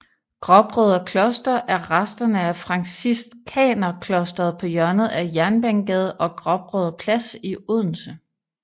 Gråbrødre Kloster er resterne af franciskanerklosteret på hjørnet af Jernbanegade og Gråbrødre Plads i Odense